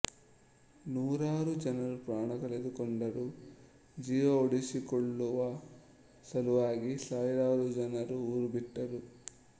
ನೂರಾರು ಜನರು ಪ್ರಾಣ ಕಳೆದುಕೊಂಡರು ಜೀವ ಉಳಿಸಿಕೊಳ್ಳುವ ಸಲುವಾಗಿ ಸಾವಿರಾರು ಜನರು ಊರು ಬಿಟ್ಟರು